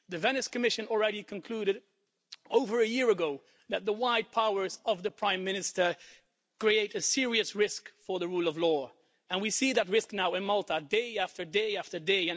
The Venice Commission already concluded over a year ago that the wide powers of the Prime Minister create a serious risk for the rule of law, and we see that risk now in Malta day after day after day.